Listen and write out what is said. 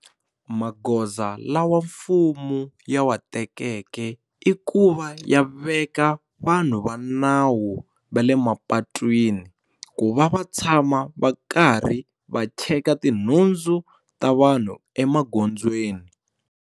Magoza lawa mfumo ya wa tekeke i ku va ya veka vanhu va nawu va le mapatwini ku va va tshama va karhi va cheka tinhundzu ta vanhu emagondzweni.